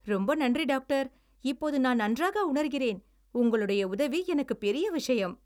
ரொம்ப நன்றி, டாக்டர்! இப்போது நான் நன்றாக உணர்கிறேன். உங்களுடைய உதவி எனக்கு பெரிய விஷயம்.